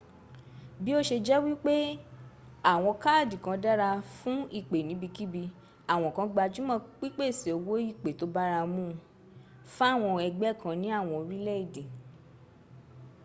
bí o se jẹ́ wípé àwọn káàdì kan dára fún ìpè níbiníki àwọn kan gbájúmọ́ pípèsè owó ìpè tó bárámun un fáwọn ẹgbẹ́ kan ní àwọn orílẹ̀èdè